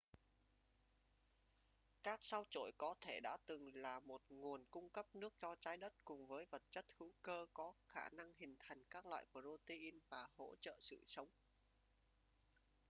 các sao chổi có thể đã từng là một nguồn cung cấp nước cho trái đất cùng với vật chất hữu cơ có khả năng hình thành các loại protein và hỗ trợ sự sống